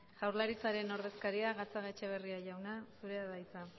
jaurlaritzaren ordezkaria gatzagaetxebarria jauna zurea da hitza